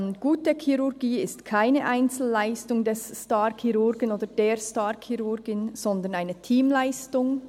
«Gute Chirurgie ist keine Einzelleistung des Starchirurgen oder der Starchirurgin, sondern eine Teamleistung.